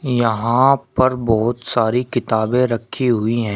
यहां पर बहुत सारी किताबें रखी हुई हैं।